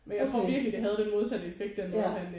Okay ja